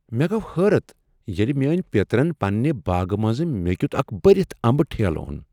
مےٚ گوٚو حٲرت ییٚلہ میٛٲنہِ پیٔترن پنٛنہ باغہٕ منٛز مےٚ کِیوٗتھ اكھ برِتھ امبہٕ ٹھیلہٕ او٘ن ۔